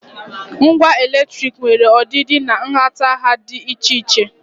Ngwa latrik nwere ọdịdị na nhatanha dị iche iche.